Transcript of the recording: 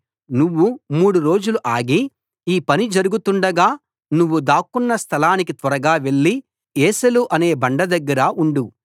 నువ్వు మూడు రోజులు ఆగి ఈ పని జరుగుతుండగా నువ్వు దాక్కొన్న స్థలానికి త్వరగా వెళ్లి ఏసెలు అనే బండ దగ్గర ఉండు